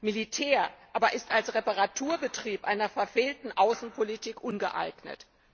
Militär aber ist als Reparaturbetrieb einer verfehlten Außenpolitik ungeeignet.